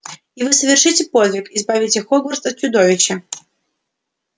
и вы совершите подвиг избавите хогвартс от чудовища